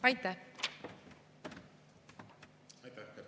Aitäh!